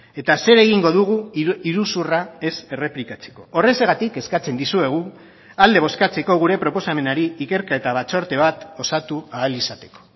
eta zer egingo dugu iruzurra ez errepikatzeko horrexegatik eskatzen dizuegu alde bozkatzeko gure proposamenari ikerketa batzorde bat osatu ahal izateko